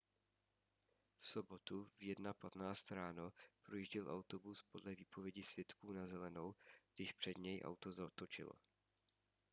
v sobotu v 1:15 ráno projížděl autobus podle výpovědi svědků na zelenou když před něj auto zatočilo